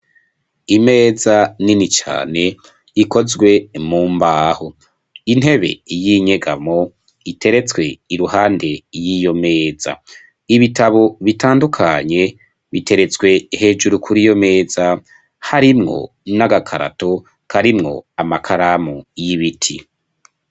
Imeza nini cane ikozwe mu mbaho intebe y'inyegamo iteretswe i ruhande y'iyo meza ibitabo bitandukanye biteretswe hejuru kuri iyo meza harimwo n'agakarato karimwo amakaramu y'ibiti.